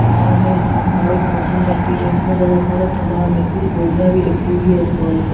दुकानों में बहुत सारी कार्टून रखे हुए जिसमें बहुत सारा समान है कुछ बोरियां भी रखी हुई है स्टाल पे।